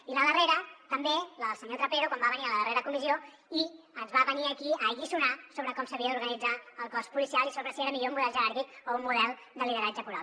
i la darrera també la del senyor trapero quan va venir a la darrera comissió i ens va venir aquí a alliçonar sobre com s’havia d’organitzar el cos policial i sobre si era millor un model jeràrquic o un model de lideratge coral